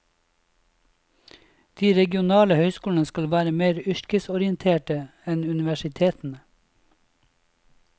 De regionale høyskolene skal være mer yrkesorienterte enn universitetene.